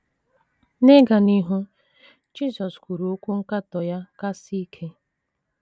N’ịga n’ihu, Jisọs kwuru okwu nkatọ ya kasị ike.